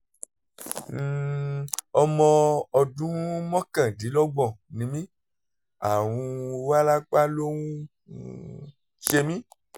um ọmọ ọdún mọ́kàndínlọ́gbọ̀n ni mí àrùn wárápá ló ń um ṣe mí